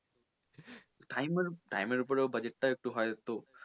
time মানে time এর ওপরে budget টাও একটু হয়তো,